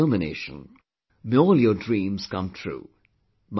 May all your dreams come true, my best wishes to you